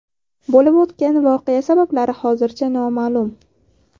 Bo‘lib o‘tgan voqea sabablari hozircha noma’lum.